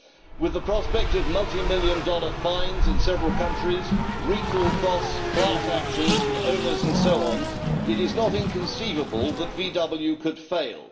With the prospect of multimillion dollar fines in several countries, recall costs, class actions from owners and so on, it is not inconceivable that VW could fail.